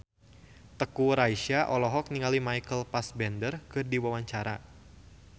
Teuku Rassya olohok ningali Michael Fassbender keur diwawancara